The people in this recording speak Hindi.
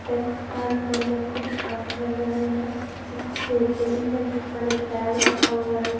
डेस्क पर वो लोग कुछ काम कर रहे हैं एक टे बेंच हैं जिस पर एक बैग रखा हुआ हैं।